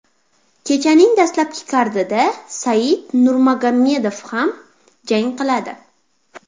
Kechaning dastlabki kardida Said Nurmagomedov ham jang qiladi.